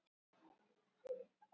Nú veit ég hvar þú býrð.